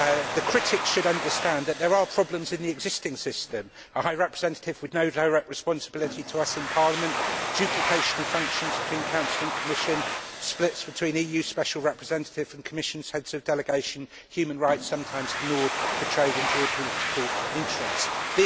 The critics should understand that there are problems in the existing system. A High Representative with no direct responsibility to us in Parliament, duplication of functions between Council and Commission, splits between EU Special Representative and Commission heads of delegation, human rights sometimes ignored for trade and geopolitical interests, etc.